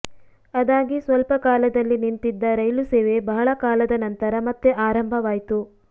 ಅದಾಗಿ ಸ್ವಲ್ಪ ಕಾಲದಲ್ಲಿ ನಿಂತಿದ್ದ ರೈಲು ಸೇವೆ ಬಹಳ ಕಾಲದ ನಂತರ ಮತ್ತೆ ಆರಂಭವಾಯ್ತು